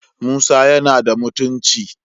Musa yana da mutunci